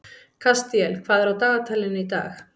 Kastíel, hvað er á dagatalinu í dag?